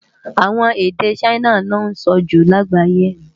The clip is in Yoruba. Awòn ede Ṣaina lò nsò jú lágbáyé